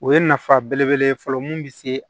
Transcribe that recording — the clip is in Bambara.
O ye nafa belebele ye fɔlɔ mun bɛ se